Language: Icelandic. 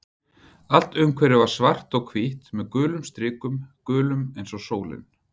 Allt umhverfið var svart og hvítt með gulum strikum, gulum eins og sólin.